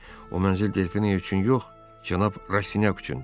O mənzil Delfina üçün yox, cənab Rastinyak üçündür.